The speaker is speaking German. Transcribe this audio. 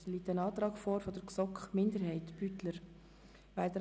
Hier liegt ein Antrag der GSoK-Minderheit/Beutler vor.